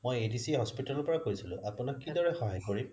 মই adc hospital ৰ পৰা কইছিলো আপোনাক কি দৰে সহায় কৰিম